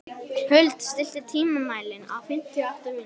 Huld, stilltu tímamælinn á fimmtíu og átta mínútur.